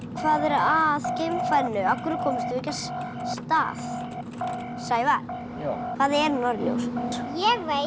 hvað er að geimfarinu af hverju komumst við ekki af stað Sævar hvað er norðurljós ég veit